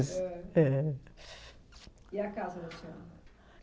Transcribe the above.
Eh. E a casa